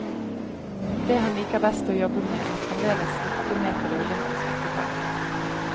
Det han liker best å jobbe med, er fremdeles ikke med på det olympiske program.